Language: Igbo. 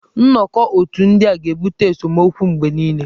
Nnọkọ otù ndị a ga-ebute esemokwu mgbe niile.